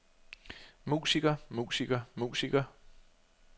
musiker musiker musiker